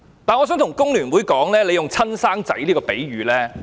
我想對工聯會說，我不太接受他們"親生仔"的比喻。